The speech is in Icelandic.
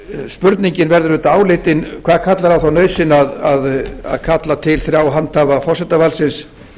spurningin verður auðvitað áleitin hvað kallar á þá nauðsyn að kalla til þrjá handhafa forsetavaldsins